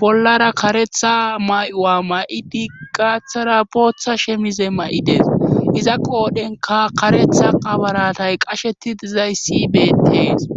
bollara karetha may'u'a ma'idi gaathara booththa shemize ma'ides iza qoodhenka karetha qabaratay qasheti dizay sibeetees.